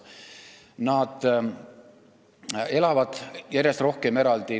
Nad elavad järjest rohkem eraldi.